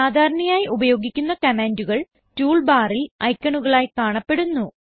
സാധാരണയായി ഉപയോഗിക്കുന്ന കമാൻഡുകൾ Toolbarൽ ഐക്കണുകളായി കാണപ്പെടുന്നു